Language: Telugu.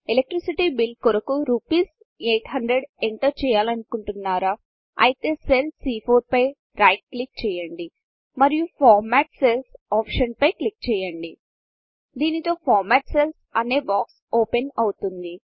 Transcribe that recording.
ఎలక్ట్రిసిటీ బిల్ కొరకు రూపీస్ 800 ఎంటర్ చేయాలనుకుంటునరా అయితే సెల్ సీ4 పై రైట్ క్లిక్ చేయండి మరియు ఫార్మాట్ సెల్స్ ఆప్షన్ పై క్లిక్ చేయండి దీనితో ఫార్మాట్ Cellsఫార్మ్యాట్ సెల్స్ అనే బాక్స్ ఓపెన్ అవుతుంది